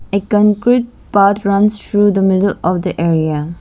A concrete path runs through the middle of the area.